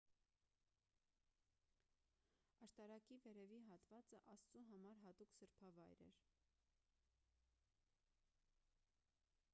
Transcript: աշտարակի վերևի հատվածը աստծու համար հատուկ սրբավայր էր